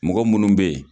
Mɔgɔ munnu be yen